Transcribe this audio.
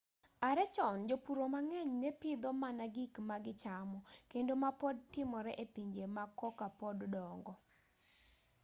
are chon jopuro mang'eny ne pidho mana gik ma gichamo kendo ma pod timore e pinje ma koka pod dongo